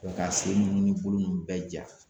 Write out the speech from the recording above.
ka se nunnu ni bolo nunnu bɛɛ ja.